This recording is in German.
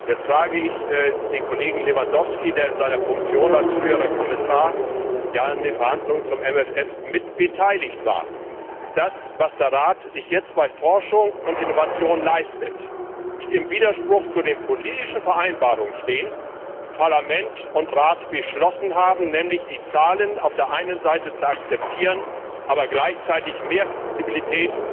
Jetzt frage ich den Kollegen Lewandowski, der in seiner Funktion als früherer Kommissar ja an den Verhandlungen zum MFR mit beteiligt war, ob das, was der Rat sich jetzt bei Forschung und Innovation leistet, nicht im Widerspruch zu den politischen Vereinbarungen steht, die Parlament und Rat beschlossen haben, nämlich die Zahlen auf der einen Seite zu akzeptieren, aber gleichzeitig mehr Flexibilität und beispielsweise